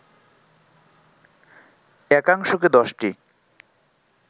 একাংশকে দশটি